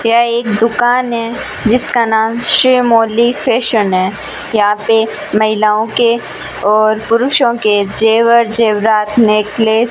यह एक दुकान है जिसका नाम श्रीमोली फैशन है यहां पर महिलाओं के और पुरुषों के जेवर जेवरात नेकलेस --